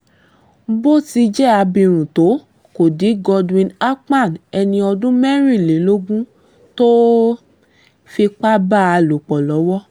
bó ti jẹ́ abirùn tó kó di godwin akpan ẹni ọdún mẹ́rìnlélógún tó fipá bá a lò pọ̀ lọ́wọ́